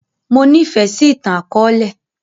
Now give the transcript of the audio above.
Mo ní fẹ sì ìtàn akọ̀ọ̀lẹ